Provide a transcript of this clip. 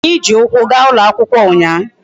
Anyi ji ukwu ga ulo akwukwo unya